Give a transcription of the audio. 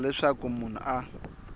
ku endlela leswaku munhu a